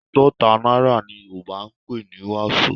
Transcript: Àádọ́ta náírà ni Yorùbá ń pè ní wàsó